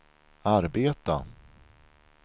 arbeta